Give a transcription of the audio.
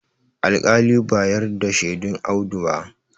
alƙali ba yarda da shedun Audu ba